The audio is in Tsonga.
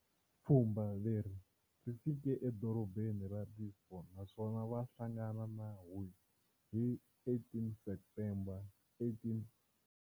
Pfhumba leri ri fike eDorobeni ra Lisbon naswona vahlangana na Hoi hi 18 September 1885.